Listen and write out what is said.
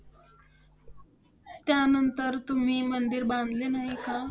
त्यानंतर तुम्ही मंदिर बांधले नाही का?